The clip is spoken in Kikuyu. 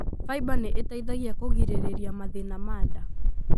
Fiber nĩ ĩteithagia kũgirĩrĩria mathĩna ma nda.